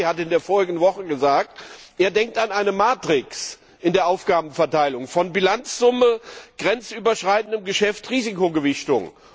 Herr Draghi hat in der vergangenen Woche gesagt, er denke an eine Matrix in der Aufgabenverteilung von Bilanzsumme, grenzüberschreitendem Geschäft und Risikogewichtung.